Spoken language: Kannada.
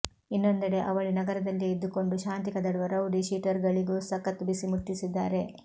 ಇನ್ನೊಂದೆಡೆ ಅವಳಿ ನಗರದಲ್ಲಿಯೇ ಇದ್ದುಕೊಂಡು ಶಾಂತಿ ಕದಡುವ ರೌಡಿ ಶೀಟರ್ಗಳಿಗೂ ಸಖತ್ ಬಿಸಿ ಮುಟ್ಟಿಸಿದ್ದಾರೆ